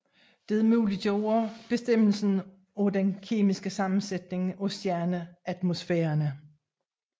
Dette muliggjorde bestemmelse af den kemiske sammensætning af stjerneatmosfærerne